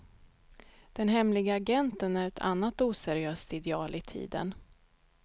Den hemlige agenten är ett annat oseriöst ideal i tiden.